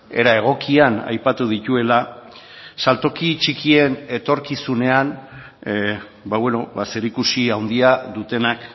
era egokian aipatu dituela saltoki txikien etorkizunean zerikusi handia dutenak